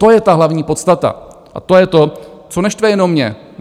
To je ta hlavní podstata a to je to, co neštve jenom mě.